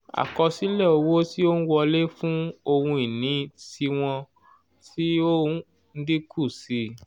àkosile owo tí ó n wọlé fun ohun ìní tiwọn ti o n dínkù sí i